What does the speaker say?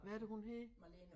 Hvad er det hun hedder?